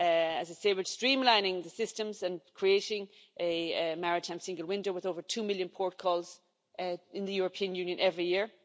As I say, we are streamlining the systems and creating a Maritime Single Window with over two million port calls in the European Union every year.